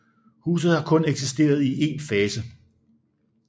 Huset har kun eksisteret i en fase